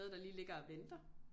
Der lige ligger og venter